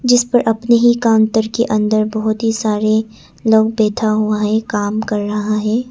जिस पर अपने ही काउंटर के अंदर बहुत ही सारे लोग बैठा हुआ है काम कर रहा है।